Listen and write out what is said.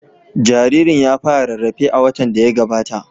Jaririn ya fara rarrafe a watan da ya gabata.